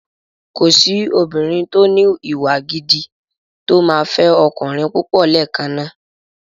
Kòsí obìnrin tó ní ìwà gidi tó máa fẹ́ ọkùnrin púpọ̀ lẹ́ẹ̀kan náà.